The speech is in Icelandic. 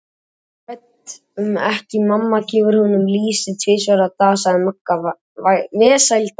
Ég er hrædd um ekki, mamma gefur honum lýsi tvisvar á dag sagði Magga vesældarlega.